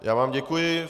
Já vám děkuji.